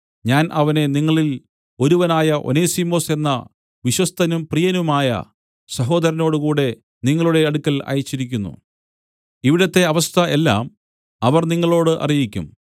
ഞാൻ അവനെ നിങ്ങളിൽ ഒരുവനായ ഒനേസിമൊസ് എന്ന വിശ്വസ്തനും പ്രിയനുമായ സഹോദരനോടുകൂടെ നിങ്ങളുടെ അടുക്കൽ അയച്ചിരിക്കുന്നു ഇവിടത്തെ അവസ്ഥ എല്ലാം അവർ നിങ്ങളോട് അറിയിക്കും